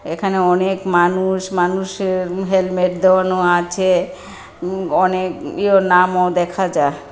এখানে অনেক মানুষ মানুষের উম হেলমেট দেওয়ানো আছে উম অনেক ইও নামও দেখা যাহ ।